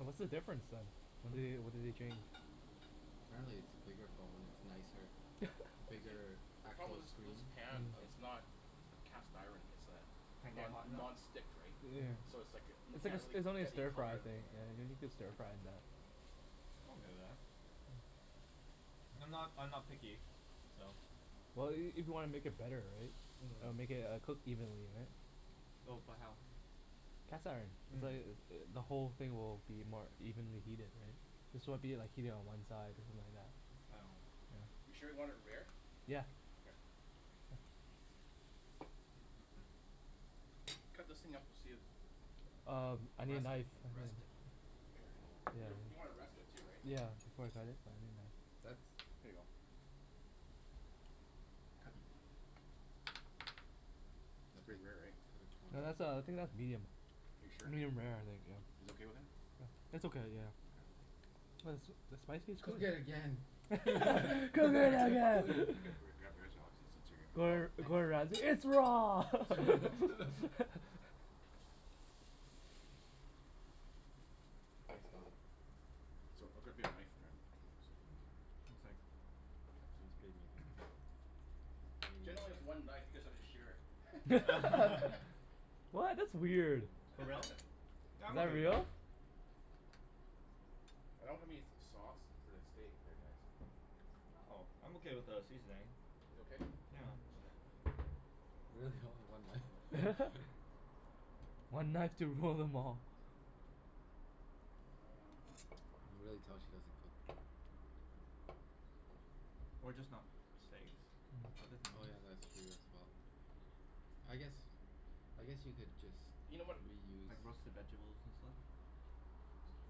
Oh, what's the difference then? They, Hmm? what did they change? Apparently, it's a bigger phone. It's nicer, bigger See, the problem actual was was screen. the pan. It's not cast iron. It's uh Can't get non- hot enough? non-stick, right? So it's like, m- It's like can't a, get really it's only a get any stir-fry color of the thing thing. rare. Yeah I think you can stir-fry in that. I'm not I'm not picky, so Well, i- if you wanna make it better, right? I'll make it. It'll cook evenly, right? Oh but how? Cast iron. It's like, the whole thing will be more evenly heated, right? This won't be like heated on one side You sure you want it rare? Yeah. Okay. Cut those thing up to see if Um, I need a Rest knife. it. Rest it. You w- you want to rest it too, right? Yeah, That's Here you go. Cut It's pretty rare, right? No. That's uh, I think that's medium. Are you sure? Medium rare, I think, yeah. You guys okay with that? It's okay, yeah. Okay. Was the spiciest Cook it again. Cook it again. I'll get, grab yours Alex, since since you're Oh, Gor- thanks. Gordon Ramsay. It's raw! Thanks Don. So, I'll grab me a knife. One sec. Mine's pretty medium. Jen only has one knife you guys have to share it. What? That's weird. For Is real? Yeah, I'm okay that with that. real? I don't have any sauce for the steak here guys. Oh, I'm okay without a seasoning. You okay? Yeah. Okay. Really, only one knife? Okay. One knife to rule them all. Um You can really tell she doesn't cook. Or just not steaks. Other Mm. Oh things. yeah, that's true as well. I guess, I guess you could just You know what, oh Like reuse hang roasted on. vegables and stuff. This'll be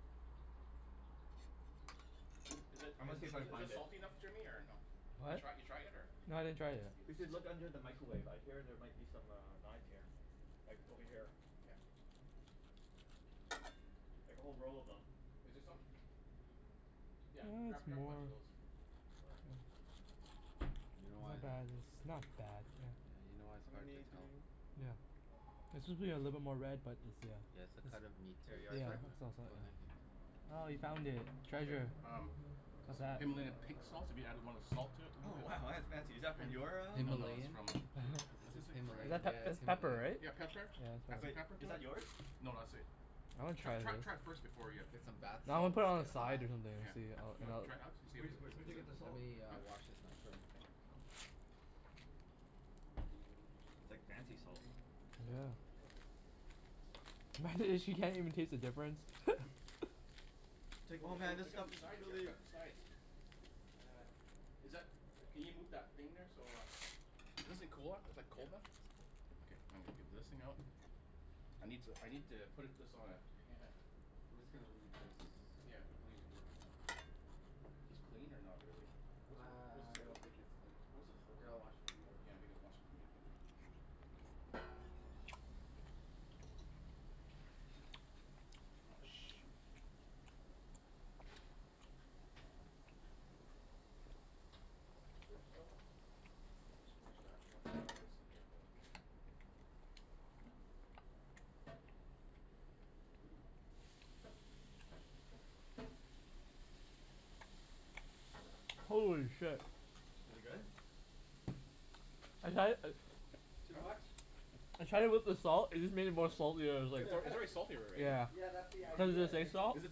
good. L- is it I'm in gonna see th- if I can is this find it. salty enough Jimmy, or no? You What? try you try it yet, or No, I didn't try it We yet. should look under the micawave. I hear there might be some uh knives here. Like, over Okay. here. Yeah. Oh, where is she? Like a whole roll of them. Is there some? Yeah, That's grab grab a more bunch of those. Or You know It's why not bad. It's not bad. Yeah. Yeah, you know why it's How hard to many do we tell. ne- Yeah. oh, okay. One It more? should be a little bit more red, but it's, Yeah, yeah. it's the cut of meat too, There you are, It's, yeah. so sir. yeah. Oh, thank It's you. Oh, you found it. Here, Treasure. um What's Just that? Himalaya pink salt, if you added want a salt to it a Oh little bit? wow, that's fancy. Is that from And, your ah no no, it's Himalayan. Himalayan? from Is this Is Himalayan? that Yeah, pep- it's it's pepper, Himalayan. right? Yeah, pepper. Yeah, it's Add some pepper. Wait. pepper Is to that it. yours? No, that's sweet. I wanna Tr- try this. tr- try it first before ya Get some bath No, I'm gonna salts, put it on the get side high. or something Yeah. to see how You it wanna all try it out? See if it Wh- wh- is is where'd is you it, get the Let salt? me huh? uh wash this knife, fir- Oh. It's like fancy salt. Sorry. Yeah. Go Go ahead. ahead. Imagine if she can't even taste the difference? It's like Oh oh w- oh man, wait, this I got stuff some is sides here. I really forgot the sides. Is that, can you move that thing there so uh This a cooler is like Yeah, cold then? it's cold. Okay, I'm gonna get this thing out I need to I need to put it this on a pan I'm just gonna leave this Yeah, we can leave it here for now. This clean, or not really? I What's a what I I don't what's think it's clean. What is it Here, holding? I'll wash it for you. Oh yeah, I think I wash it from you Oh, shoot. Is this dish soap? Unless you wash that and I Shh. get this thing here going. Holy shit. Is it good? I'd had it uh Too Huh? much? I tried it with the salt. It just made it more salty. I was like It's al- it's already salty r- right? Yeah. Yeah, that's the Cuz of idea. the It sea makes it salt. Is m- it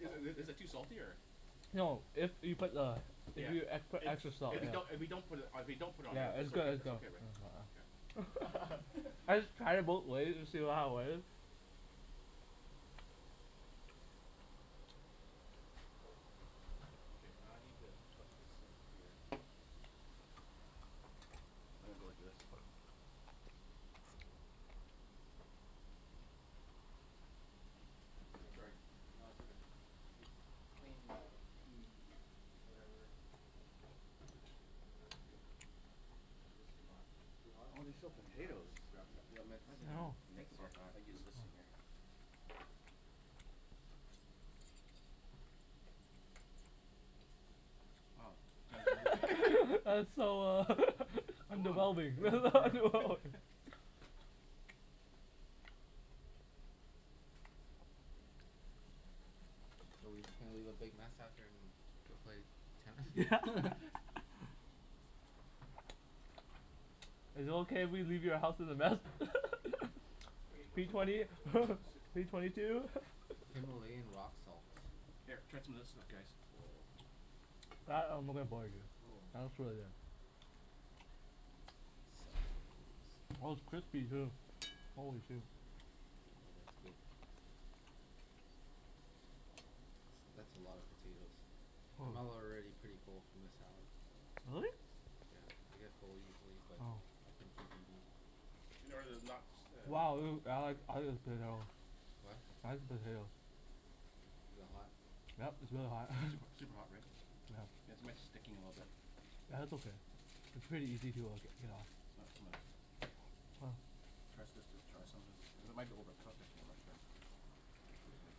is it is it too salty or No, if you put the if Yeah. you e- put It's extra salt, If it's we yeah. don't if we don't put it if we don't put it on there Yeah, it's it's good. okay It's it's go- okay, right? Okay. I just tried it both ways to see w- how it was. Okay, I need to put this in here. I'm gonna go like this. Here. Sorry. No, it's okay. It's clean now p whatever your number is. I think it's too hot. Too hot? Oh Yeah, there's still I'm gonna grab the potatoes. grab the The oven mitts. I I didn't even know. mitts think here. about that. I'll use this thing here. Oh, Oh. Jen's really That's so uh Come I'm on. A developing. little burn, no? So we just gonna leave a big mess after and go play Yeah. tennis? Is it okay if we leave your house as a mess? Okay, watch P out watch twenty out watch out watch out. Sneak behind P twenty two. Himalayan rock salts. Here, try some of this stuff guys. Woah. That I'm looking forward to. Ooh. That looks really good. Oh, it's crispy, too. Holy shoe. Oh, that's good. S- that's a lot of potatoes. I'm al- Oh. already pretty full from the salad. Really? Yeah, I get full easily but Oh. Oh. I can keep eating. You know where the knocks uh Wow, potato. What? Eyes potato. Is it hot? Yep, it's really hot. Is it super super hot, right? Mm. Yeah. Yeah. It's my sticking a little bit. Yeah, that's okay. It's pretty easy to uh g- get off. Not so mu- Oh. Try s- this this try some of this. It might be overcooked actually. I'm not sure. Ah. Like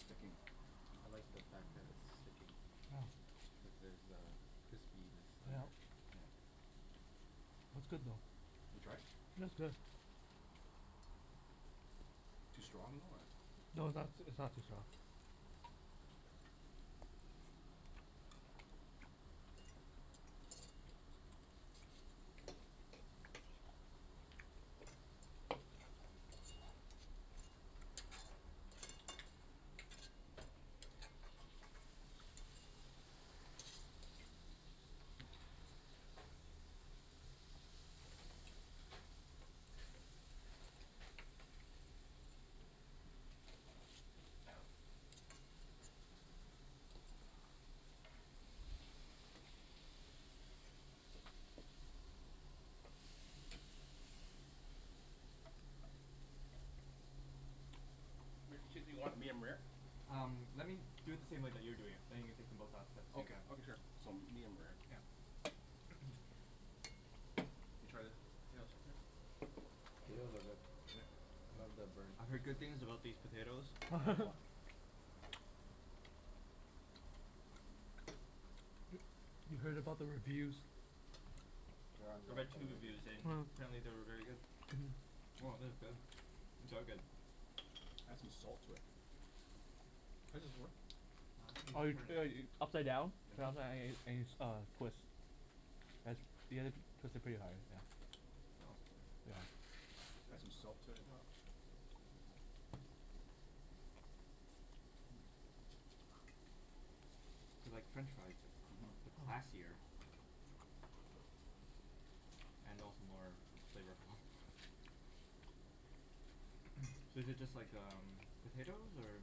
sticking. I like the fact that it's sticking. Oh. Cuz there's a crispiness under. Yep. Yeah. It's good though. You tried it? It's good. Too strong, though, or No, it's not s- it's not too strong. Rick, the chickpea, you want it medium-rare? Um, let me do it the same way that you're doing it, then you can take them both out at by the same Okay, time. okay sure. So medium-rare. Yeah. You try the The potatoes are good. Love the burnt I've heard good things crispiness. about these potatoes. I am wa- You heard about the reviews. They're on I Yelp read two already. reviews and Mm. apparently they were very good. Mhm. Oh, thith is good. These are good. Add some salt to it. How does this work? Ah, I think you Oh just you turn it. should ea- upside down. uh-huh. Uh, twist. As, you gotta twist it pretty hard, yeah. Oh. Yeah. Add some salt to it, yeah. They're like French fries but c- Mhm. but classier. Mhm. And also more flavorful. So is it just like um, potatoes? Or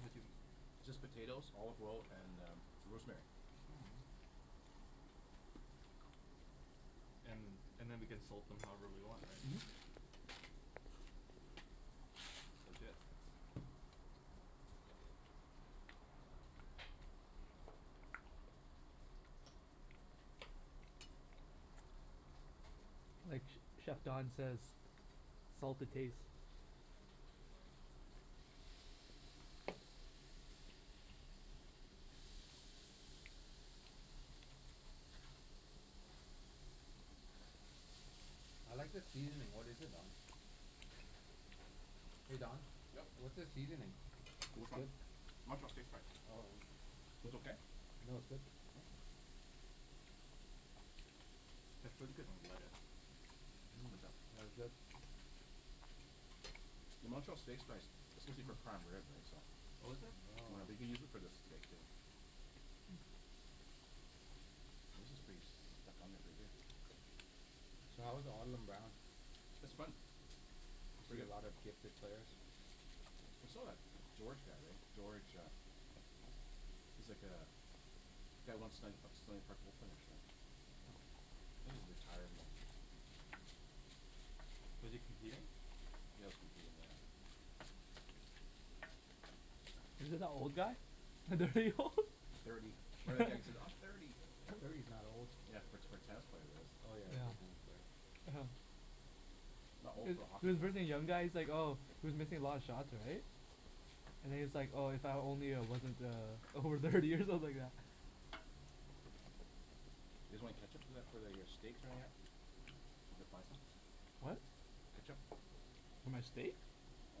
How'd you m- It's just potatoes, olive oil, and uh rosemary. Mm. And and then we can salt them however we want, right? Mhm. That's legit. Like ch- chef Don says salt to taste. I like the seasoning. What is it, Don? Hey Don? Yep. What's the seasoning? For It's which one? good. Montreal steak spice. Oh, yeah. Was okay? No, it's good. Mm. It's pretty good on lettuce. Mhm. What's that? No, it's good. The Montreal steak spice, it's supposed to be for prime rib right? So Oh, is it? Yeah, I Oh. think they use it for the steak too. This is pretty stuck on there pretty good. So how was It's fun. You Pretty see a good. lot of gifted players? We still got George guy, right? George uh he's like uh, guy won Stan- P- Stanley Park Open, actually. Oh. I think he's Oh. retired now. Was he competing? Yeah, he was competing, yeah. Is it that old guy? old? Thirty. "I'm thirty." Thirty's not old. Yeah, for t- for a tennis player it is. Oh, yeah. For a tennis Yeah. player. Not old Is for a hockey is for player. birthing young guys like oh, he was missing a lot of shots, right? And he's like, "Oh, if only I wasn't uh over thirty" or something like that. You guys want any ketchup for that for th- for your steaks or anything at? Mm. We could find some. What? Ketchup? For my steak? Oh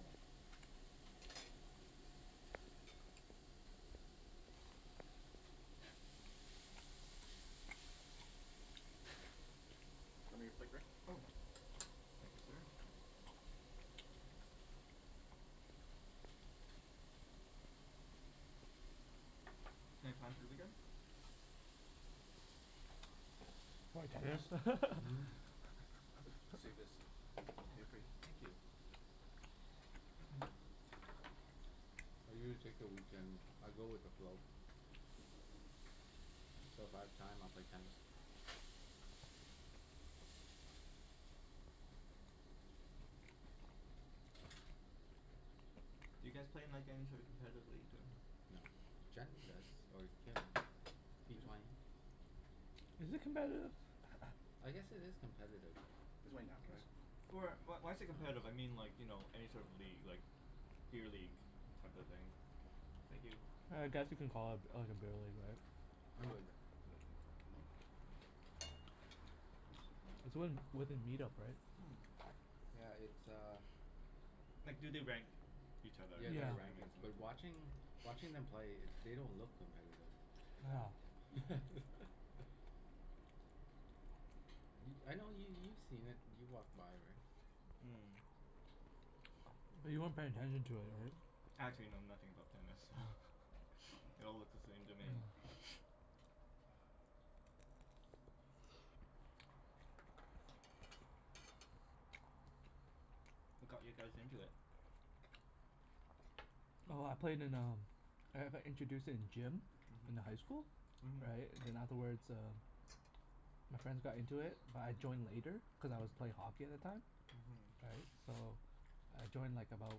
no. Show me your plate, Rick? Oh, yeah. Thank you, sir. Thanks. Any plans for the weekend? Probably tennis. Mhm. Save this o- Oh, okay for you? thank you. I usually take the weekend, I go with the flow. But if I have time, I'll play tennis. Do you guys play in like any sort of competitive league, or? No. Jen does, or Kim. P twenty. Is it competitive? I guess it is competitive. You guys want any napkins? Right? Or wh- why's it competitive? I mean like, you know, any sort of league, like beer league, type of thing? Thank you. I guess you can call it like a beer league, right? I'm good mm. It's Mm. when, within meet-up, right? Yeah, it's uh Mm. Like do they rank each other? Yeah, That's there Yeah. are what I mean rankings. But so- watching watching them play, they don't look competitive. Yeah. Y- I know yo- you've seen it. You've walked by, right? Mm. But you weren't paying attention to it, Oh. right? Actually know nothing about tennis, so they all look the same to me. What got you guys into it? Oh, I played in um I've I introduced it in gym in the high school. Mhm. Mhm. Right? And then afterwards uh my friends got into it but I joined later cuz I was play hockey at the time. Mhm. Right? So I joined like about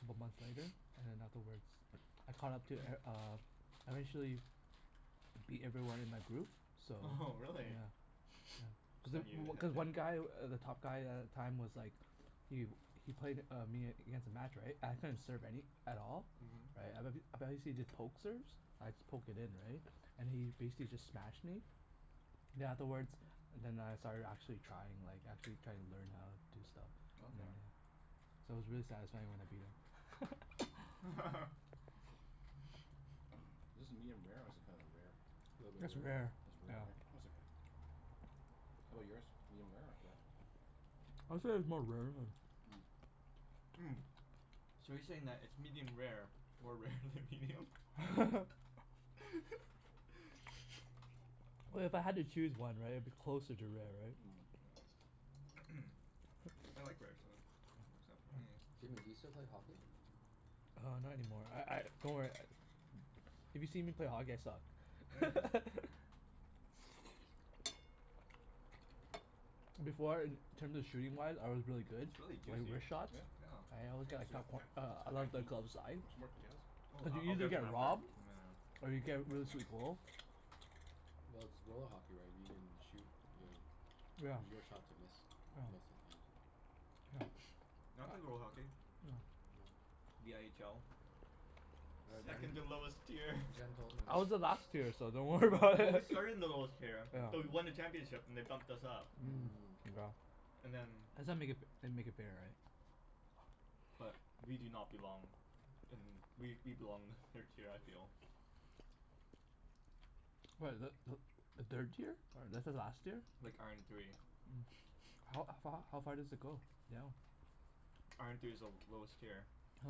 couple months later. And then afterwards I caught up to e- uh I Mhm. eventually beat everyone in my group. So Oho, really? yeah Cuz i- Then you w- had cuz to one guy, w- the top guy a- at the time was like Yu. He played uh me against a match, right? I couldn't serve any at all. Right? I bet h- I bet he see the poke serves? I'd just poke it in, right? And he basically just smashed me Mhm. then afterwards then I started actually trying. Like actually trying to learn how do stuff, you Okay. Okay. know? So it was really satisfying when I beat him. Is this medium-rare, or is it kinda rare? A little bit It's rare, rare. It's rare, yeah. right? It's okay. How 'bout yours? medium-rare or rare? I'd say it's more rare than Mm. Mm, so you're saying that it's medium rare more rare than medium? Well, if I had to choose one, right? It'd be closer to rare, right? Mm. Yeah. I like rare, so works out for me. Jimmy, you still play hockey? Uh, not any more. I I, don't worry if you see me play hockey I Mm. suck. Before in terms of shooting-wise I was really good It's really like juicy. wrist shots? Yeah? Yeah. I always got a It's a a coup- it's uh high glove the heat. glove side. Want some more potatoes? Oh, Did I you I'll usually get some get after, robbed? Mhm. Or you nyeah, get rid of finish this. some goal? Well, it's roll hockey, right? If you can shoot you'll Yeah. it was your shot to miss, most of the time. Yeah. I play roll hockey. No. Yeah. The n h l. Yeah, Second to Yeah. lowest tier. Jen Jen told me. I was the last tier, so don't worry Oh, about but we it. started in the lowest tier Jen but told we me. won the Yeah. championship and they bumped us up. Mm. Mm. Wow. And then That's how make it f- they make it fair, right? but we do not belong in, we we belong in the third tier I feel. What, is that Mm. th- the third tier? This is last year? Like, iron three. Mm. How a f- h- how far does it go down? Iron three is the l- lowest tier. Oh.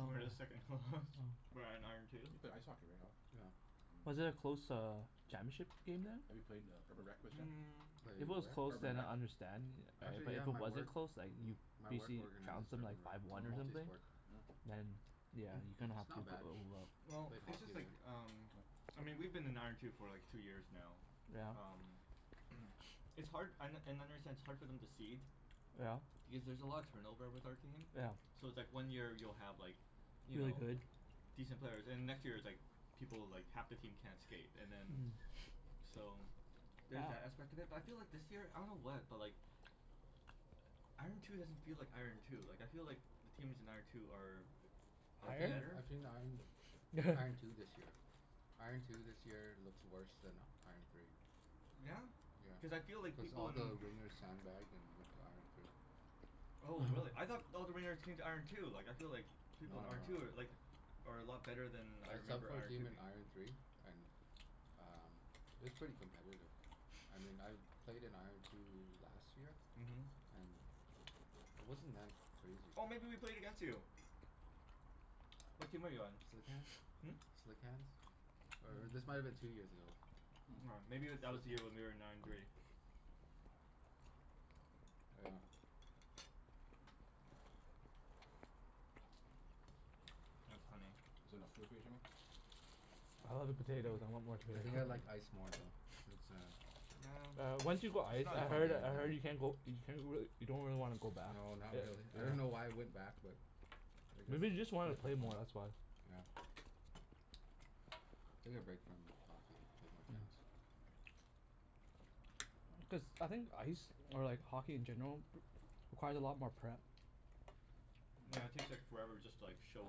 Oh. We're the second h- lowest. We're at iron two. You play ice hockey, right Alan? Yeah. Was Mm. it a close uh championship game then? Have you played in a Mm. If it Played was where? close Urban then Rec? I understand yeah, right? Actually But if yeah, it my wasn't work close like m- my work BC organizes trounced them Urban like Rec. five one or Multi something? Mm. sport. Mm. Then yeah, you kinda It's have not to bad. Well, Played it's hockey just like there. um I mean we've been in iron two for like two years now. Yeah? Um It's hard an- and I understand it's hard for them to cede Yeah. because there's a lot of turnover with our team. Yeah. So it's like one year you'll have like you Really know, good? decent players. And the next year it's like people, like half the team can't skate, and then So there's that aspect of it. But I feel like this year, I don't know what, but like Mhm. iron two doesn't feel like iron two. Like I feel like the teams in iron two are are I've seen better. I've seen iron iron two this year. Iron two this year looks worse than iron three. Yeah? Yeah. Cuz I feel like Cuz people all in the wringers sand-bagged and went to iron three. Oh really? I thought all the ringers came to iron two. Like I feel like No people in no no iron two are no, yeah. like are a lot better than I I subbed remember for a iron three team in being. iron three and um it was pretty competitive. I mean I've played in iron two last year. Mhm. And it wasn't that crazy. Oh, maybe we played against you? What team are you on? Slick hands. Hmm? Slick hands. Or or this might have been two years ago. M- aw Hmm. maybe Slick w- hands? that Oh. was the year when we were in iron three. Yeah. That's funny. Is it enough food for you, Jimmy? I love the potatoes. I want more I potatoes. think I Mm. like ice more though. Cuz uh Yeah, Yeah, once it's you go ice it's not as I different heard I game, heard you yeah. can't go you can't really, you don't really wanna go back. No, not really. I don't know why I Yeah. went back but I guess Maybe you just just to wanted play to for play fun. more, that's why. Yeah. Take a break from hockey. Played more tennis. Mm. Cuz, I think ice or like hockey in general requires a lot more prep. Yeah, it Mm. takes like forever just to like show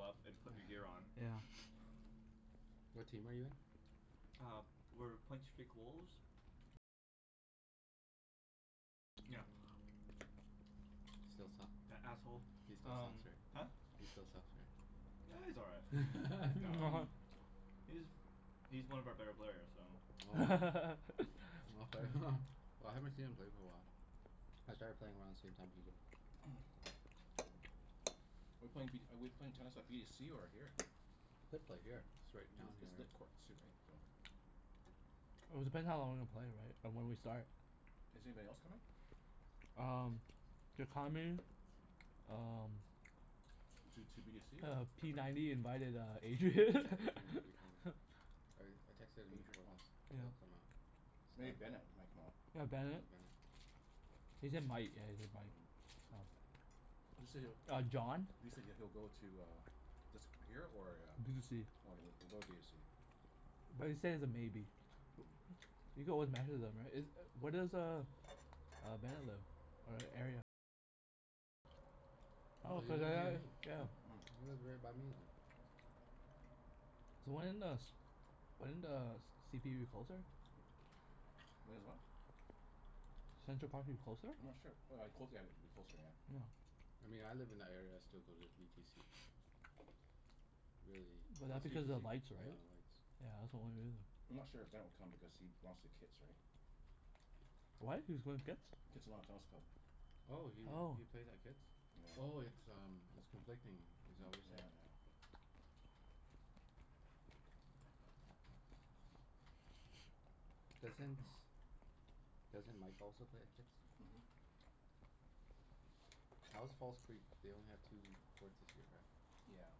up and put your gear on. Yeah. What team are you in? Uh, we're Point Streak Wolves. Still suck? That asshole. He still sucks, Um right? Huh? He still sucks, right? Ah, he's all right. No. Mhm. He's he's one of our better players, so Oh, wow. Okay. Well, I haven't seen him play for a while. I started playing around the same time he did. We're playing v- we're playing tennis by b to c or here? Could play here. It's right down here, It's lit right? courts too, right? It was depending how long we play, right? Or when we start. Is anybody else coming? Um Um Two two b to c or Uh, p ninety invited uh Yeah, Adrian. Adrian might be coming. I r- I texted him Adri- before oh. this. Yeah. He'll come out. Maybe Bennett might come out. Yeah, Oh, Bennett. Bennett. He said might. Yeah, he said might, so Mm. You said it Uh, John. You said he'll go to uh this here or a B to c. Okay, w- we'll go with b of c. But he said he's a maybe. You go with right? Is u- where Mm. does uh uh Bennett live? Hmm? Oh, he lives near me? He lives right by me then. So when does when does c p u closer? Mm. When is what? I'm Central Park move closer? not sure. W- w cl- yeah, like it'd be closer, yeah. Yeah. I mean I live in that area, I still go to v t c. Really. But that's What's v t because of c? lights, Yeah, right? the lights. Yeah, that's the only reason. I'm not sure if Ben will come because he lost to Kits, right? What? He was going to Kits? Kitsilano Tennis Club. Oh, he Oh. he plays at Kits? Oh, Yeah. it's um it's conflicting. Is that what Yep, you're yeah, saying? yeah. Doesn't doesn't Mike also play at Kits? Mhm. How is False Creek? They only have two courts this year, right? Yeah.